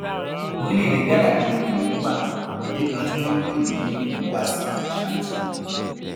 orílẹèdè ghana ni wẹrẹ yìí wà níbì kan tí wọn ń pè ní obúàsì ashanti